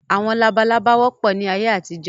Àwọn labalábá wọ́pọ̀ ni ayé àtijọ́